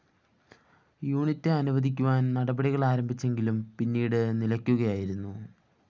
unit അനുവദിക്കുവാന്‍ നടപടികള്‍ ആരംഭിച്ചെങ്കിലും പിന്നീട് നിലക്കുകയായിരുന്നു